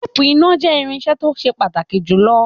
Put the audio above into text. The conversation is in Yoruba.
Teepu iná jẹ irinṣẹ́ to se pàtàkì jùlọ.